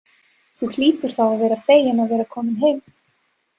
Þú hlýtur þá að vera feginn að vera kominn heim.